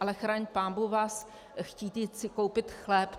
Ale chraň pánbůh vás chtít si koupit chléb.